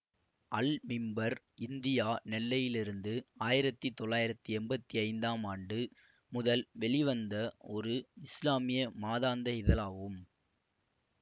அல் மிம்பர் இந்தியா நெல்லையிலிருந்து ஆயிரத்தி தொள்ளாயிரத்தி எம்பத்தி ஐந்தாம் ஆண்டு முதல் வெளிவந்த ஒரு இஸ்லாமிய மாதாந்த இதழாகும்